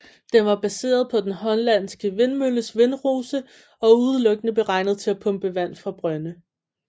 Den var baseret på den hollandske vindmølles vindrose og udelukkende beregnet til at pumpe vand fra brønde